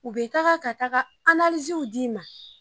U be taga ka taga d'i ma.